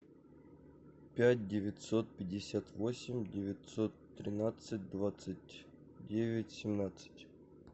пять девятьсот пятьдесят восемь девятьсот тринадцать двадцать девять семнадцать